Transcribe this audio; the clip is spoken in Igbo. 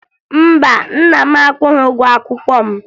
Mba, nna m akwụghị ụgwọ akwụkwọ m